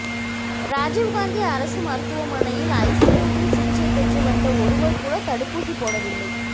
ராஜிவ் காந்தி அரசு மருத்துவமனையில் ஐசியூவில் சிகிச்சை பெற்று வந்த ஒருவர்கூட தடுப்பூசி போடவில்லை